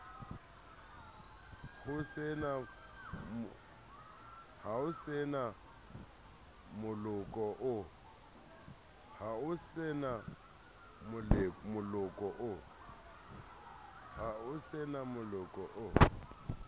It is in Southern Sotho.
ho se na moloko o